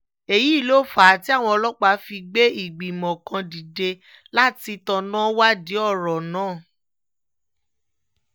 èyí ló fà á tí àwọn ọlọ́pàá fi gbé ìgbìmọ̀ kan dìde láti tanná wádìí ọ̀rọ̀ náà